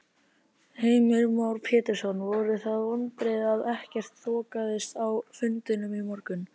Heimir Már Pétursson: Voru það vonbrigði að ekkert þokaðist á fundinum í morgun?